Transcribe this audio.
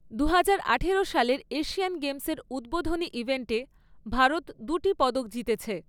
দুহাজার আঠারো সালের এশিয়ান গেমসের উদ্বোধনী ইভেন্টে ভারত দুটি পদক জিতেছে।